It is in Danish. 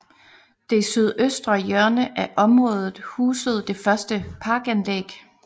Det sydøstre hjørne af området husede det første parkanlæg